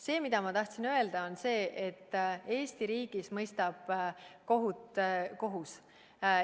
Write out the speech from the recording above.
See, mida ma tahtsin öelda, on see, et Eesti riigis mõistab kohut kohus.